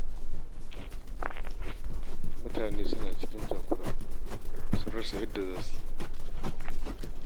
Mutane suna cikin takura sun rasa yadda za su yi